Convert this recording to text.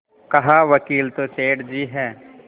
कहावकील तो सेठ जी हैं